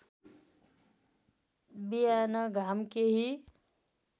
बिहान घाम केही